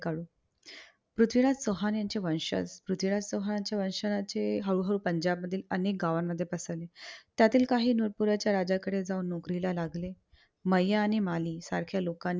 पृथ्वीराज चौहान यांचे वंशज. पृथ्वीराज चौहानांचे वंशज असे हळू हळू पंजाबमध्ये अनेक गावांमध्ये पसरले. त्यातील काही नुकूरच्या राजाकडे जाऊन नोकरी करायला लागले. मैया आणि माली सारख्या लोकांकडून